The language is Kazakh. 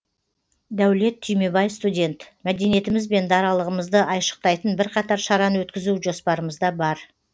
дәулет түймебай студент мәдениетіміз бен даралығымызды айшықтайтын бірқатар шараны өткізу жоспарымызда бар